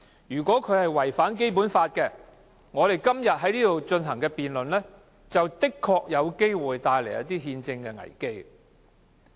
如果違反《基本法》，我們今天在這裏進行辯論，的確有可能帶來憲制危機。